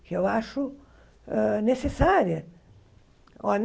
que eu acho hã necessária.